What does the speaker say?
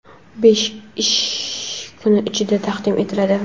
besh ish kuni ichida taqdim etiladi.